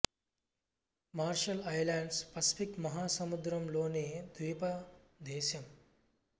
మర్షల్ Islands Pacific మహా సముద్రం లోని ద్వీప దేశం